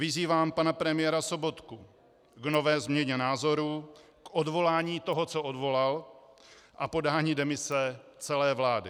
Vyzývám pana premiéra Sobotku k nové změně názoru, k odvolání toho, co odvolal, a podání demise celé vlády.